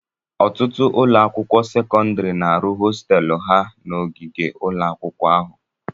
Ọtụtụ ụlọ akwụkwọ sekọndrị na-arụ hostéélu ha na ogige ụlọ akwụkwọ ahụ